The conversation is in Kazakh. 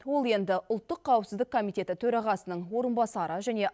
ол енді ұлттық қауіпсіздік комитеті төрағасының орынбасары және